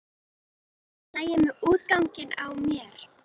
Er allt í lagi með útganginn á mér?